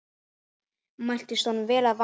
Mæltist honum vel að vanda.